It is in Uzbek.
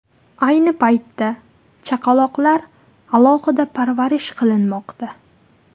Ayni paytda chaqaloqlar alohida parvarish qilinmoqda.